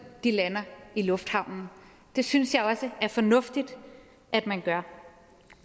de lander i lufthavnen det synes jeg også er fornuftigt at man gør